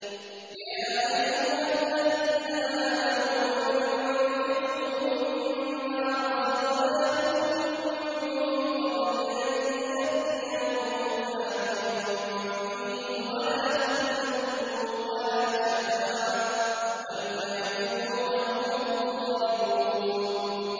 يَا أَيُّهَا الَّذِينَ آمَنُوا أَنفِقُوا مِمَّا رَزَقْنَاكُم مِّن قَبْلِ أَن يَأْتِيَ يَوْمٌ لَّا بَيْعٌ فِيهِ وَلَا خُلَّةٌ وَلَا شَفَاعَةٌ ۗ وَالْكَافِرُونَ هُمُ الظَّالِمُونَ